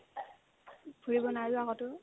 ফুৰিব নাযা ক'তো